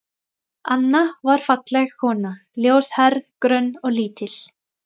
Anna var falleg kona, ljóshærð, grönn og lítil.